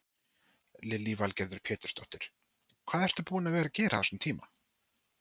Lillý Valgerður Pétursdóttir: Hvað ertu búin að vera að gera á þessum tíma?